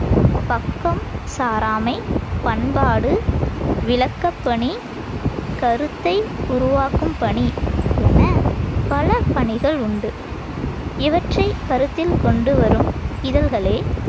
பக்கம் சாராமை, பண்பாடு, விளக்கப்பணி, கருத்தை உருவாக்கும் பணி எனப் பல பணிகளுண்டு. இவற்றைக் கருத்தில் கொண்டு வரும் இதழ்களே